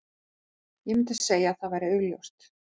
Ég myndi segja að það væri augljóst.